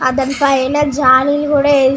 అది అంత అయిన జాలి కూడా ఏది --